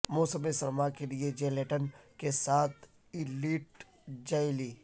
موسم سرما کے لئے جیلیٹن کے ساتھ ایلیٹ جیلی